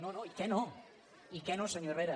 no no i què no i què no senyor herrera